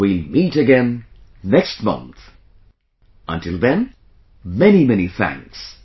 We'll meet again next month, until then, many many thanks